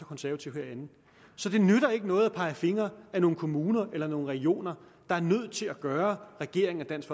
konservative herinde så det nytter ikke noget at pege fingre ad nogle kommuner eller nogle regioner der er nødt til at gøre regeringen og dansk